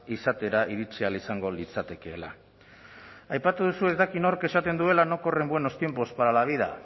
izatera iritsi ahal izango litzatekeela aipatu duzu ez dakit nork esaten duela no corren buenos tiempos para la vida